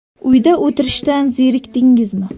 Uyda o‘tirishdan zerikdingizmi?